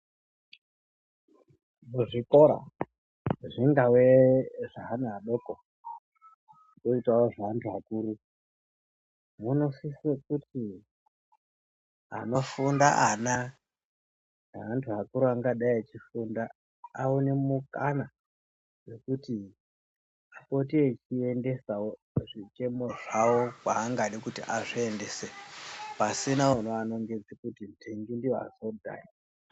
Kuzvikora zvingave zveana padoko kwoitawo zveantu akuru zvinosisa kuti anofunda ana ngeantu akuru angadai echifunda aone mukana wekuti apote echiendesawo zvichemo zvawo kwaangada kuti azviendese pasina unoanongodzera kuti nhingi ndiye wazodai.